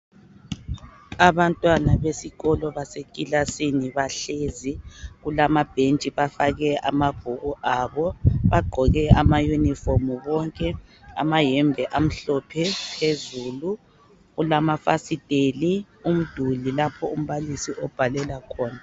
Abantwana besikolo basekilasini bahlezi, kulama bhentshi bafake amabhuku abo, bagqoke amayunifomu bonke, amayembe amhlophe phezulu, kulamafasiteli, umduli lapha umbalisi abhalela khona.